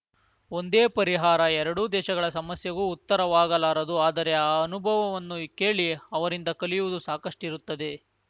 ಒಂದೇ ಪರಿಹಾರ ಎರಡೂ ದೇಶಗಳ ಸಮಸ್ಯೆಗೂ ಉತ್ತರವಾಗಲಾರದು ಆದರೆ ಆ ಅನುಭವವನ್ನು ಕೇಳಿ ಅವರಿಂದ ಕಲಿಯುವುದು ಸಾಕಷ್ಟಿರುತ್ತದೆ